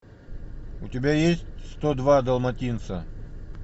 у тебя есть сто два далматинца